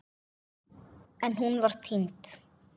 En hún var týnd.